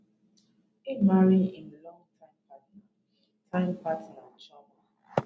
im marry im time partner partner chioma